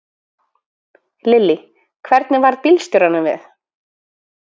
Lillý: Hvernig varð bílstjóranum við?